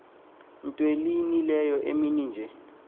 ntw ihlileyo emininje